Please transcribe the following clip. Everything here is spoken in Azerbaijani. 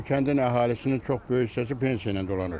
Bu kəndin əhalisinin çox böyük hissəsi pensiya ilə dolanır.